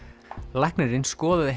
læknirinn skoðaði